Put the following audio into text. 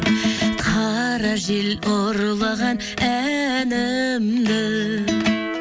қара жел ұрлаған әнімді